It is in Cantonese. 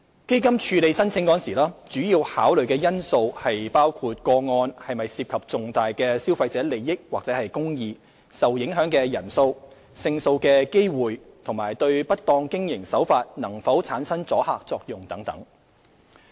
基金處理申請時，主要考慮因素包括個案是否涉及重大的消費者利益或公義、受影響的人數、勝訴的機會及對不當經營手法能否產生阻嚇作用等。